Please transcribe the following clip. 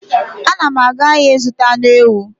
Anam aga ahia zuta anu ewu